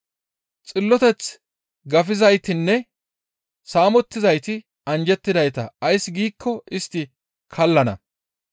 Xilloteth gafizaytinne saamettizayti anjjettidayta; ays giikko istti kallana.